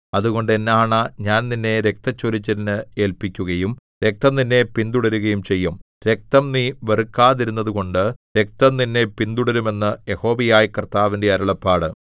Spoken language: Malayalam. അതുകൊണ്ട് എന്നാണ ഞാൻ നിന്നെ രക്തച്ചൊരിച്ചിലിന് ഏല്പിക്കുകയും രക്തം നിന്നെ പിന്തുടരുകയും ചെയ്യും രക്തം നീ വെറുക്കാതിരുന്നതുകൊണ്ട് രക്തം നിന്നെ പിന്തുടരും എന്ന് യഹോവയായ കർത്താവിന്റെ അരുളപ്പാട്